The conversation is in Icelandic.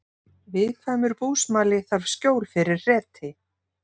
Viðkvæmur búsmali þarf skjól fyrir hreti